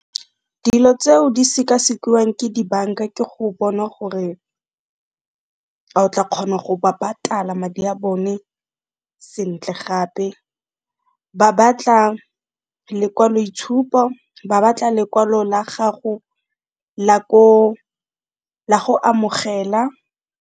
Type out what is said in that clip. Dilo tseo di sekasekiwang ke dibanka ke go bona gore a o tla kgona go ba patala madi a bone sentle, gape ba batla lekwaloitshupo, ba batla lekwalo la gago la go amogela.